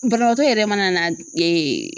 Banabaatɔ yɛrɛ mana na